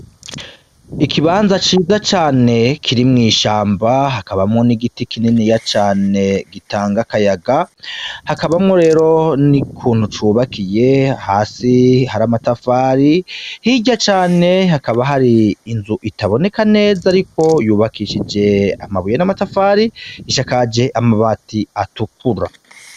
Ikibanza ciza cane kiri mw'ishamba hakabamwo n'igiti kininiya cane gitanga akayaga, hakabamwo rero n'ukuntu cubakiye hasi hari amatafari, hirya cane hakaba hari inzu itaboneka neza ariko yubakishije amabuye n'amatafari isakaje amabati atukura.